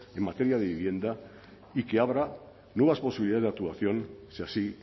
en materia de vivienda y que abra nuevas posibilidades de actuación si así